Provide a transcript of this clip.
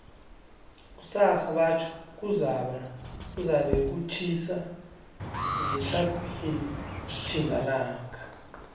kusasa batjho kuzabe kutjhisa ngetlhagwini tjhingalanga